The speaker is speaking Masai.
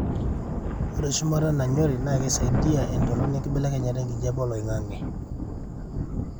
ore shumata nanyori na keisaidia entoroni enkibelekenya ekijape oloingangi